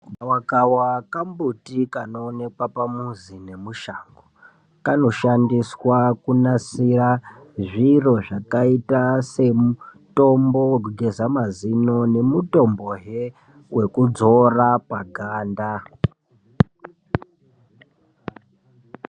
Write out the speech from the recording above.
Gawakawa kambuti kanoonekwa pamuzi nemushango kanoshandiswa kunasira zviro zvakaita semutombo wekugeza mazino nemutombo wekudzora paganda.